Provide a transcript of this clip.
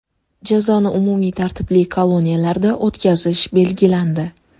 Jazoni umumiy tartibli koloniyalarda o‘tkazish belgilandi.